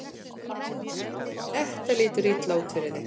Þetta lítur illa út fyrir þig